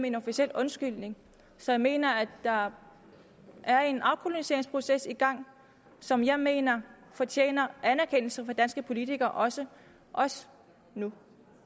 en officiel undskyldning så jeg mener at der er en afpolitiseringsproces i gang som jeg mener fortjener anerkendelse af danske politikere også også nu